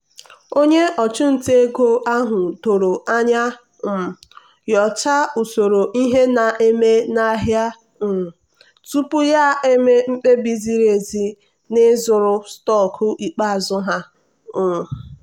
onye ọchụnta ego ahụ doro anya um nyochaa usoro ihe na-eme n'ahịa um tupu ya eme mkpebi ziri ezi na ịzụrụ stọkụ ikpeazụ ha. um